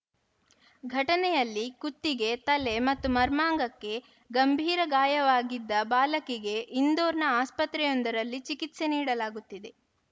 ಘಟನೆಯಲ್ಲಿ ಕುತ್ತಿಗೆ ತಲೆ ಮತ್ತು ಮರ್ಮಾಂಗಕ್ಕೆ ಗಂಭೀರ ಗಾಯವಾಗಿದ್ದ ಬಾಲಕಿಗೆ ಇಂದೋರ್‌ನ ಆಸ್ಪತ್ರೆಯೊಂದರಲ್ಲಿ ಚಿಕಿತ್ಸೆ ನೀಡಲಾಗುತ್ತಿದೆ